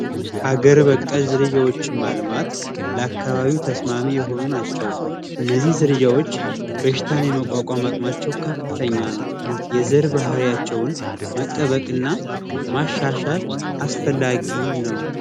ሀገር በቀል ዝርያዎችን ማልማት ለአካባቢ ተስማሚ የሆኑ ናቸው። እነዚህ ዝርያ መቋቋም አቅማቸው ከፍተኛ ነው የዘር ባህሪያቸውን መጠበቅና ማሻሻል አስፈላጊ ነው።